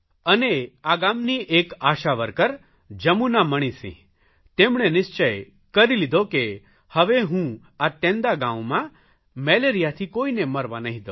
અને આ ગામની એક આશાવર્કર જમુના મણિસિંહ તેમણે નિશ્ચય કરી લીધો કે હવે હું આ તેંદાગાંવમાં મેલેરિયાથી કોઇને મરવા નહીં દઉં